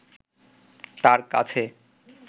তার কাছে